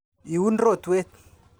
Iun rotwet.